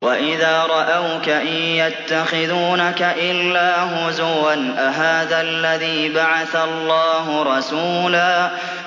وَإِذَا رَأَوْكَ إِن يَتَّخِذُونَكَ إِلَّا هُزُوًا أَهَٰذَا الَّذِي بَعَثَ اللَّهُ رَسُولًا